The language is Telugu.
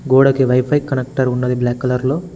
గోడకి వైఫై కలెక్టర్ ఉన్నది బ్లాక్ కలర్ లో.